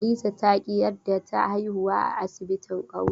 Hadiza ta ƙi yarda ta haihuwa a asibti kauye.